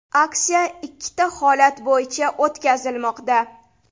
Aksiya ikkita holat bo‘yicha o‘tkazilmoqda.